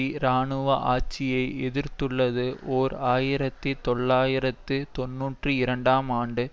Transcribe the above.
இராணுவ ஆட்சியை எதிர்த்துள்ளது ஓர் ஆயிரத்தி தொள்ளாயிரத்து தொன்னூற்றி இரண்டாம் ஆண்டு